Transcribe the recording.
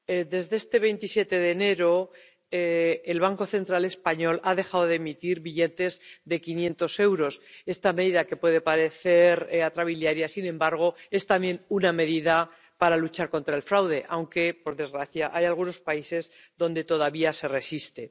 Desde este 27 de enero, el Banco Central español ha dejado de emitir billetes de 500 euros. Esta medida, que puede parecer atrabiliaria, es sin embargo también una medida para luchar contra el fraude, aunque por desgracia hay algunos países donde todavía se resiste.